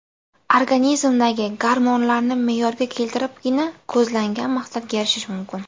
Organizmdagi gormonlarni me’yorga keltiribgina ko‘zlangan maqsadga erishish mumkin.